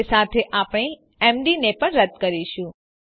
એ સાથે આપણે એમડી ને પણ રદ્દ કરીશું